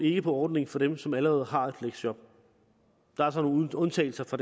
ikke på ordningen for dem som allerede har et fleksjob der er så nogle undtagelser fra